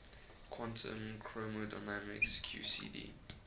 quantum chromodynamics qcd